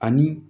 Ani